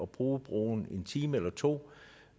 bruge broen en time eller to